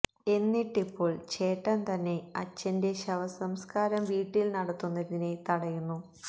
എന്നിട്ട് ഇപ്പോൾ ചേട്ടൻ തന്നെ അച്ഛന്റെ ശവസംസ്കാരം വീട്ടിൽ നടത്തുന്നതിനെ തടയുന്നു